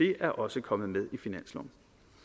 det er også kommet med i finansloven